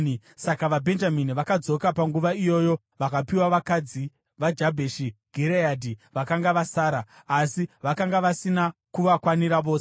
Saka vaBhenjamini vakadzoka panguva iyoyo vakapiwa vakadzi veJabheshi Gireadhi vakanga vasara. Asi vakanga vasina kuvakwanira vose.